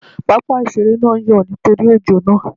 Pápá ìṣeré náà ń yọ̀ nítorí ojó àná